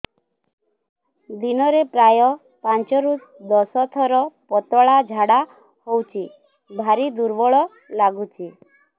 ଦିନରେ ପ୍ରାୟ ପାଞ୍ଚରୁ ଦଶ ଥର ପତଳା ଝାଡା ହଉଚି ଭାରି ଦୁର୍ବଳ ଲାଗୁଚି